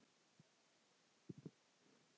Ætlarðu að lofa því?